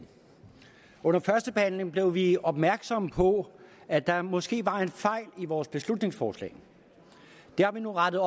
under førstebehandlingen blev vi opmærksomme på at der måske var en fejl i vores beslutningsforslag det har vi nu rettet